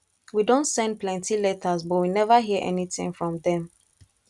we don send plenty letters but we never hear anything from dem